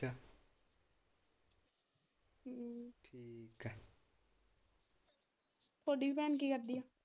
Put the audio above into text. ਥੋਡੀ ਭੈਣ ਕੀ ਕਰਦੀ ਆ?